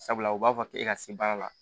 Sabula u b'a fɔ k'e ka se baara la